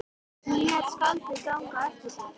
Nú lét skáldið ganga á eftir sér.